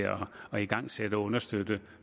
at igangsætte og understøtte